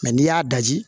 n'i y'a daji